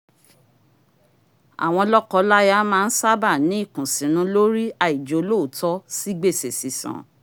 àwọn lọ́kọláya má ń sábà ní ìkùnsínú lórí àìjólóòótó sí gbèsè sísan